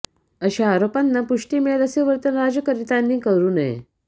अशा आरोपांना पुष्टी मिळेल असे वर्तन राज्यकर्त्यांनी करू नये